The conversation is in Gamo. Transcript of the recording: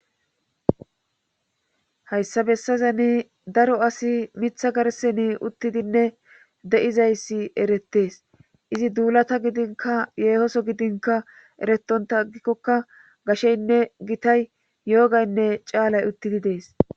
hayssa bessazani daro asi mitha garseni uttidinne de7izayssi erettees izi duulata gidinka yeehoso gidinka eretonta aggikkoka gasheynne gitay yoogaynne caalay uttidi dees